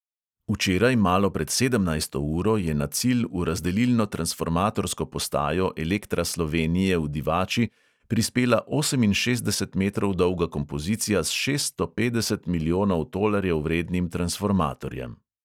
Včeraj malo pred sedemnajsto uro je na cilj v razdelilno-transformatorsko postajo elektra slovenije v divači prispela oseminšestdeset metrov dolga kompozicija s šeststo petdeset milijonov tolarjev vrednim transformatorjem.